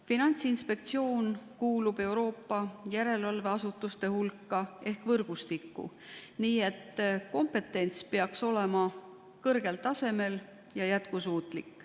Finantsinspektsioon kuulub Euroopa järelevalveasutuste võrgustikku, nii et kompetents peaks olema kõrgel tasemel ja jätkusuutlik.